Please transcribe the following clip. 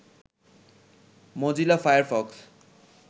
Mozilla Firefox